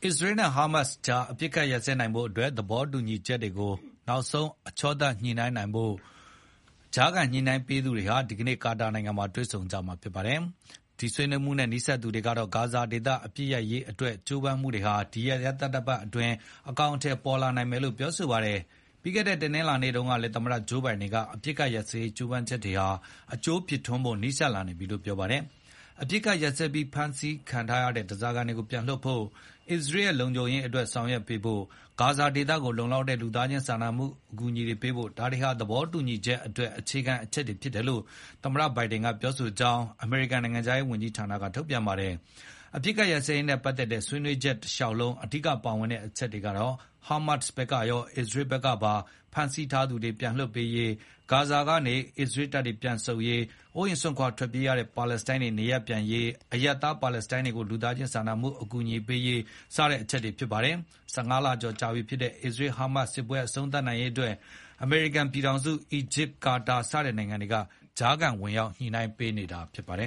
စ္စရေးနဲ့ဟာမတ်စ်ကြား အပစ်အခတ်ရပ်စဲနိုင်ဖို့ သဘောတူညီချက်တွေကို နောက်ဆုံးအချောသတ်ညှိ နှိုင်းနိုင်ဖို့ ကြားခံညှိနှိုင်းပေးသူတွေဟာ ဒီကနေ့ကာတာနိုင်ငံမှာ တွေ့ဆုံကြမှာဖြစ်ပါတယ်။ ဒီဆွေးနွေးမှုနဲ့ နီးစပ်သူတွေကတော့ ဂါဇာဒေသအပစ်ရပ်ရေးကြိုးပမ်းမှုတွေဟာ ဒီရက်သတ္တပတ်အတွင်း အကောင်အထည် ပေါ်လာနိုင်တယ်လို့ပြောပါတယ်။ ပြီးခဲ့တဲ့တနင်္လာနေ့တုန်းကလည်း သမ္မတဂျိုးဘိုင်ဒန်က အပစ်အခတ်ရပ်စဲရေးကြိုးပမ်းချက်တွေဟာ အကျိုးဖြစ်ထွန်းဖို့နီးစပ်နေပြီလို့ပြောခဲ့ပါတယ်။ အပစ်ရပ်ပြီး ဖမ်းဆီးထားတဲ့ဓားစာခံတွေကိုပြန်လွှတ်ဖို့၊ အစ္စရေးရဲ့လုံခြုံရေးအတွက်ဆောင်ရွက်ပေးဖို့နဲ့ ဂါဇာဒေသကို လုံလောက်တဲ့ လူသားချင်းစာနာမှု အကူအညီတွေပေးဖို့ ဒါတွေဟာ သဘောတူညီချက်အတွက် အခြေခံအချက်တွေဖြစ်တယ်လို့ သမ္မတဘိုင်ဒန်ကပြောကြောင်း အမေရိကန်နိုင်ငံခြားရေးဝန်ကြီးဌာနကထုတ်ပြန်ပါတယ်။ အပစ်အခတ်ရပ်စဲရေးနဲ့ပတ်သက်တဲ့ ဆွေးနွေးညှိနှိုင်းမှုတလျှောက် အဓိကပါဝင်တဲ့အချက်တွေကတော့ ဟာမတ်စ်ဘက်ကရော၊ အစ္စရေးဘက်ကပါ ဖမ်းဆီးထားသူတွေပြန်လွှတ်ပေးရေး၊ ဂါဇာကနေ အစ္စရေး တပ်တွေပြန်ဆုတ်ရေး၊ အိုးအိမ်စွန့် ခွါထွက်ပြေးရတဲ့ပါလက်စတိုင်းတွေနေရပ်ပြန်ရေး၊ အရပ်သား ပါလက်စတိုင်းတွေကို လူသားချင်းစာနာမှုအကူအညီတွေပေးရေး စတဲ့အချက်တွေဖြစ်ပါတယ်။ ၁၅ လကျော်ကြာပြီဖြစ်တဲ့ အစ္စရေး-ဟာမတ်စ်စစ်ပွဲအဆုံးသတ်နိုင်ရေးမှာ အမေရိကန်ပြည်ထောင်စု၊ အီဂျစ်၊ ကာတာစတဲ့နိုင်ငံတွေက ကြားခံဝင်ရောက်ညှိနိုင်းပေးနေတာဖြစ်ပါတယ